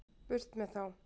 Burt með þá.